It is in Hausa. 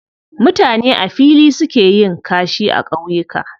Mutane a fili suke yin kashi a ƙauyuka